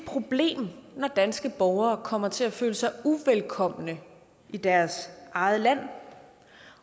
problem når danske borgere kommer til at føle sig uvelkomne i deres eget land